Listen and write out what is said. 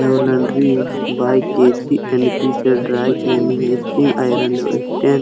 एगो बाइस के जी.एन.पी.जे से ड्राई क्लीनिंग स्टील आयरन और स्टेन --